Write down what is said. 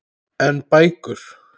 En bækur?